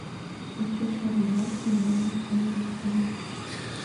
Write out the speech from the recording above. включи хор братии валаамского монастыря